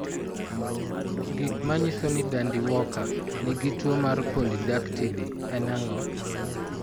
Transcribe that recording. Gik manyiso ni Dandy Walker nigi tuwo mar polydactyly en ang'o?